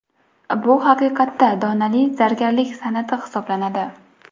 Bu haqiqatda donali zargarlik san’ati hisoblanadi.